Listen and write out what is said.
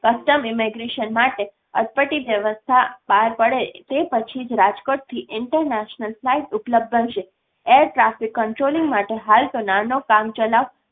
custom immigration માટે અટપટી વ્યવસ્થા પાર પડે તે પછી જ રાજકોટથી international filght ઉપલબ્ધ બનશે air traffic controlling માટે હાલ તો નાનો કામચલાઉ